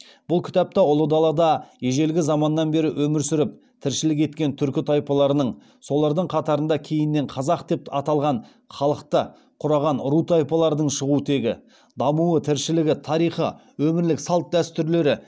бұл кітапта ұлы далада ежелгі заманнан бері өмір сүріп тіршілік еткен түркі тайпаларының солардың қатарында кейіннен қазақ деп аталған халықты құраған ру тайпалардың шығу тегі дамуы тіршілігі тарихы өмірлік салт дәстүрлері